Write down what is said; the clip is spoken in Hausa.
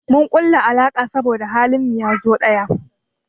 Mun kulla alaka saboda halin mu yazo ɗaya.